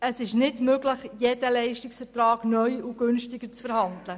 Es ist nicht möglich, jeden Leistungsvertrag neu und preisgünstiger auszuhandeln.